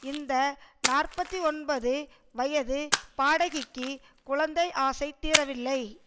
இந்த நாற்பத்தி ஒன்பது வயது பாடகிக்கு குழந்தை ஆசை தீரவில்லை